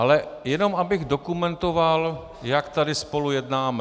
Ale jenom abych dokumentoval, jak tady spolu jednáme.